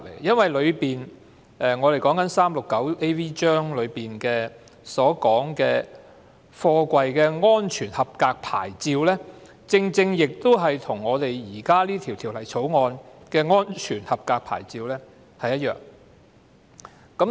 第 369AV 章所訂定的貨櫃安全合格牌照，與現時審議的《條例草案》所訂的安全合格牌照是一樣的。